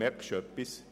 Merkst du etwas?